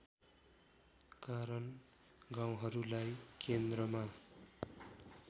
कारण गाउँहरूलाई केन्द्रमा